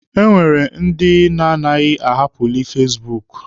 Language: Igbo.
E nwere ndị na-agaghi ahapụli fasibuuku.